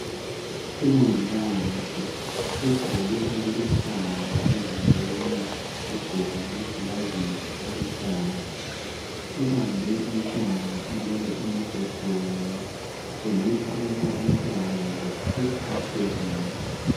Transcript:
Umongikazi ugqoke okuluhlaza emzimbeni wagqoka lamaglovisi aluhlaza ubambe umntwana olele embhedeni kutshengisa ukuba umntwana lo uphathekile